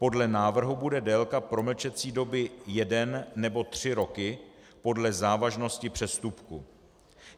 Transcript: Podle návrhu bude délka promlčecí doby 1 nebo 3 roky, podle závažnosti přestupku.